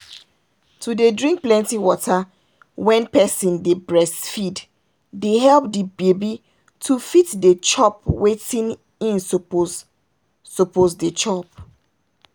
to dey drink plenty water wen person dey breastfeed dey help the baby to fit dey chop wetin hin suppose suppose dey chop.